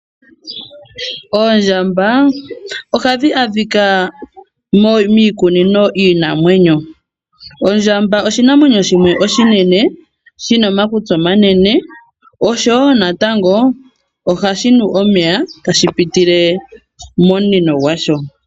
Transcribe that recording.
Oondjamba oha dhi adhika miikunino yiinamwenyo. Ondjamba oshinamwenyo shimwe oshinene, shi na omakutsi omanene osho wo natango oha shi nu omeya ta shi pitile momunino gwasho.